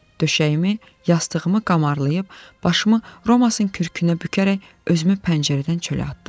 Döşəyimi, yastığımı qamarlayıb, başımı Romasın kürkünə bükərək özümü pəncərədən çölə atdım.